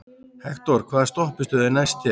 Hektor, hvaða stoppistöð er næst mér?